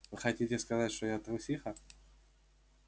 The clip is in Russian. хотите сказать что я трусиха